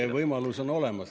See võimalus on olemas.